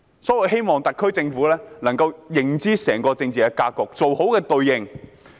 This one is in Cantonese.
所以，我希望特區政府能夠認知整個政治格局，妥善地應對。